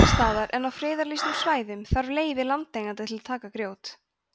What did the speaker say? annars staðar en á friðlýstum svæðum þarf leyfi landeigenda til að taka grjót